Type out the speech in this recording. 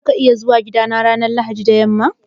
Za ka iya zuwa gidana ranar Lahadi da yamma?